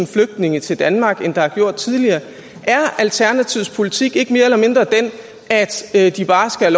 flygtninge til danmark end der har gjort tidligere er alternativets politik ikke mere eller mindre den at de bare skal